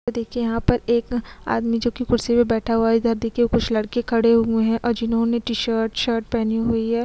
और देखिए यहाँ पर एक आदमी जो की कुर्सी पर बैठा हुआ है इधर देखिए कुछ लड़के खड़े हुए हैं और जिन्होंने टी शर्ट शर्ट पहनी हुई है।